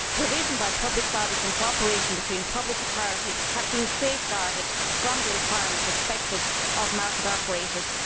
Provision by public bodies and cooperation between public authorities have been safeguarded from the requirements imposed on market operators.